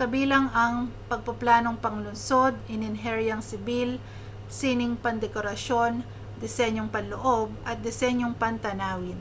kabilang ang pagpaplanong panlungsod inhinyeriyang sibil sining pandekorasyon disenyong panloob at disensyong pantanawin